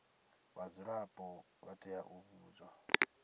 vhadzulapo vha tea u vhudzwa